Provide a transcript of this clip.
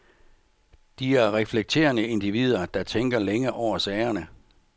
De er reflekterende individer, der tænker længe over sagerne.